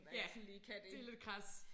Ja det lidt krads